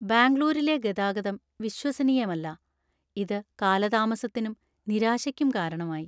ബാംഗ്ലൂരിലെ ഗതാഗതം വിശ്വസനീയമല്ലാ. ഇത് കാലതാമസത്തിനും, നിരാശയ്ക്കും കാരണമായി.